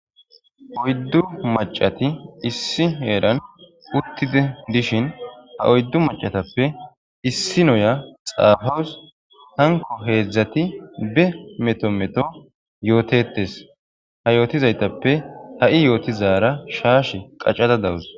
Oyddu macati issi heeran uttide dishin ha oyddu macatappe issi noya xaafawus hanko heedzdzati be meto meto yootetes ha yootizaytappe ha7i yootizara shaash qaccada dawus.